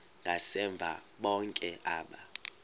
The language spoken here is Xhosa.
ngasemva bonke aba